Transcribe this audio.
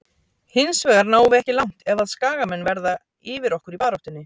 Hinsvegar náum við ekki langt ef að skagamenn verða yfir okkur í baráttunni.